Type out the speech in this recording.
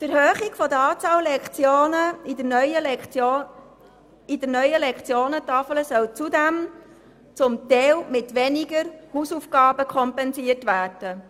Die Erhöhung der Lektionenzahl in der neuen Lektionentafel soll zudem zum Teil mit weniger Hausaufgaben kompensiert werden.